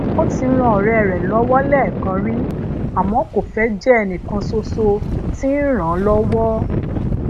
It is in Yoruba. ó ti ran ọ̀rẹ́ rẹ̀ lọ́wọ́ lẹ́ẹ̀kan rí àmọ́ ko fẹ́ jẹ́ ẹnikan sọ̀sọ̀ ti n ràn án lọ́wọ́